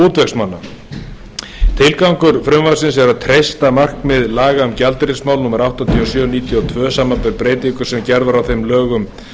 útvegsmanna tilgangur frumvarpsins er að treysta markmið laga um gjaldeyrismál númer áttatíu og sjö nítján hundruð níutíu og tvö samanber breytingu sem gerð var á þeim með lögum